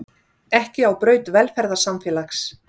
Ekki á braut velferðarsamfélags